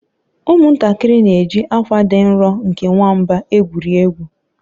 ụmụntakịrị na-eji akwa dị nro nke nwamba egwuri egwu